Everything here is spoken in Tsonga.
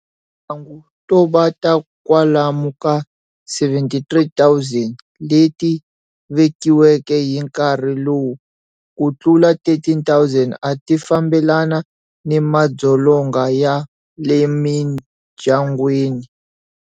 Timhangu to ba ta kwalomu ka 73 000 leti vekiweke hi nkarhi lowu, ku tlula 13 000 a ti fambelana ni madzolonga ya le mindyangwini.